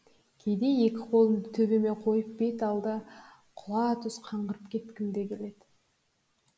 кейде екі қолымды төбеме қойып бет алды құла түз қаңғырып кеткім де келді